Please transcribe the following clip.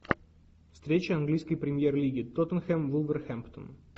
встреча английской премьер лиги тоттенхэм вулверхэмптон